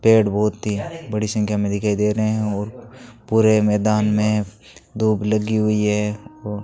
पेड़ बहोत ही बड़ी संख्या में दिखाई दे रहे हैं और पूरे मैदान में धूप लगी हुई हैं और --